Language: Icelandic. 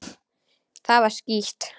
Það var skítt.